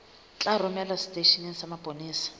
tla romelwa seteisheneng sa mapolesa